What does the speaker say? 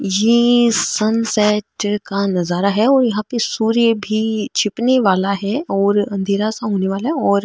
ये sun centre का नजारा है और यहाँ पे सूर्य भी छिपने वाला है और अँधेरा सा होने वाला है और --